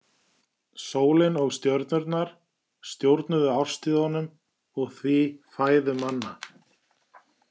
Sólin og stjörnurnar stjórnuðu árstíðunum og því fæðu manna.